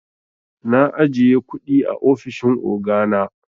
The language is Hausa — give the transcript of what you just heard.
Na ajiye kundi a ofishin ogana.